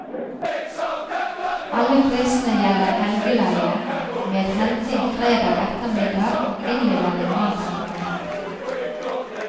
Alle prisene gjelder helgeleie, med henting fredag ettermiddag og innlevering mandag morgen.